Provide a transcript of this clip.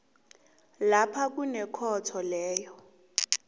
lapha kunekhotho leyo